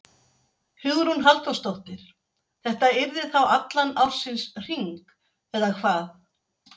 Hugrún Halldórsdóttir: Þetta yrði þá allan ársins hring, eða hvað?